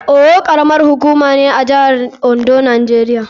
Owo karamar hukuma ce a jihar Ondo, Najeriya.